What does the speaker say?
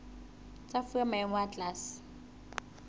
tsa fuwa maemo a tlase